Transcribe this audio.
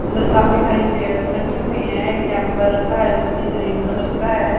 अंदर काफी सारी चेयर्स रखी हुई हैं एक केंपर रखा है जो कि ग्रीन कलर का है।